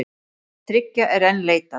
Þriggja er enn leitað.